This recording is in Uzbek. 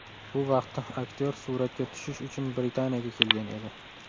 Bu vaqtda aktyor suratga tushish uchun Britaniyaga kelgan edi.